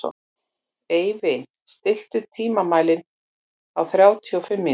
Eivin, stilltu tímamælinn á þrjátíu og fimm mínútur.